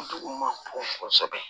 Dugu ma bon kosɛbɛ